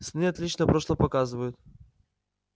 сны отлично прошлое показывают